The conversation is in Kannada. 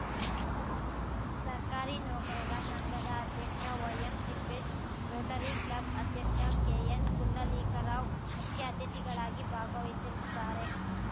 ಸರ್ಕಾರಿ ನೌಕರರ ಸಂಘದ ಅಧ್ಯಕ್ಷ ವೈಎಂ ತಿಪ್ಪೇಶ್‌ ರೋಟರಿಕ್ಲಬ್‌ ಅಧ್ಯಕ್ಷ ಕೆಎನ್‌ ಪುಂಡಲೀಕರಾವ್‌ ಮುಖ್ಯ ಅತಿಥಿಗಳಾಗಿ ಭಾಗವಹಿಸಲಿದ್ದಾರೆ